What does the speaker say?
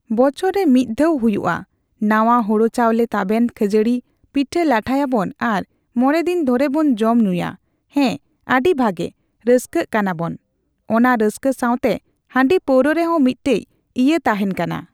ᱵᱚᱪᱷᱚᱨ ᱨᱮ ᱢᱤᱫ ᱫᱷᱟᱣ ᱦᱩᱭᱩᱜᱼᱟ᱾ ᱱᱟᱣᱟ ᱦᱳᱲᱳ ᱪᱟᱣᱞᱮ, ᱛᱟᱵᱮᱱ, ᱠᱷᱟᱹᱡᱟᱹᱲᱤ, ᱯᱤᱴᱷᱟᱹᱼᱞᱟᱴᱷᱟᱭᱟᱵᱚᱱ ᱟᱨ ᱢᱚᱬᱮ ᱫᱤᱱ ᱫᱷᱚᱨᱮ ᱵᱚᱱ ᱡᱚᱢ ᱧᱩᱜᱼᱟ᱾ ᱦᱮᱸ ᱟᱹᱰᱤ ᱵᱷᱟᱹᱜᱤ᱾ ᱨᱟᱹᱥᱠᱟᱹᱜ ᱠᱟᱱᱟᱵᱚᱱ, ᱚᱱᱟ ᱨᱟᱹᱥᱠᱟᱹ ᱥᱟᱣᱛᱮ ᱦᱟᱺᱰᱤᱼᱯᱟᱹᱣᱨᱟ ᱨᱮᱦᱚᱸ ᱢᱤᱫᱴᱮᱡ ᱤᱭᱟᱹ ᱛᱟᱦᱮᱱ ᱠᱟᱱᱟ᱾